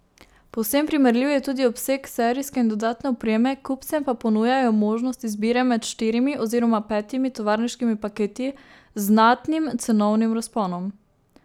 Povsem primerljiv je tudi obseg serijske in dodatne opreme, kupcem pa ponujajo možnost izbire med štirimi oziroma petimi tovarniškimi paketi z znatnim cenovnim razponom.